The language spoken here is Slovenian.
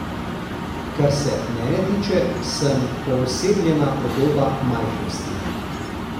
Kar se mene tiče, sem poosebljena podoba majhnosti.